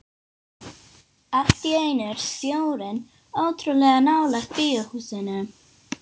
Allt í einu er sjórinn ótrúlega nálægt bíóhúsinu.